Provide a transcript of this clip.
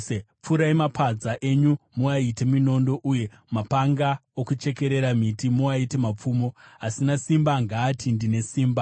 Pfurai mapadza enyu muaite minondo, uye mapanga okuchekerera miti muaite mapfumo. Asina simba ngaati, “Ndine simba!”